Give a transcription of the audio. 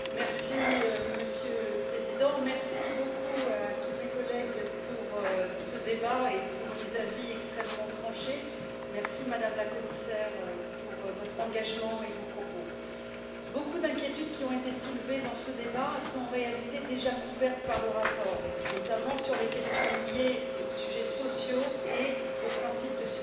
Monsieur le Président, chers collègues, merci beaucoup pour ce débat et pour les avis extrêmement tranchés, merci Madame la Commissaire pour votre engagement et vos propos. Beaucoup d'inquiétudes qui ont été soulevées dans ce débat sont en réalité déjà couvertes par le rapport et notamment sur les questions liées aux sujets sociaux et au principe de subsidiarité.